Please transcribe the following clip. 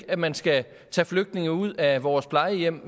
at man skal tage flygtninge ud af vores plejehjem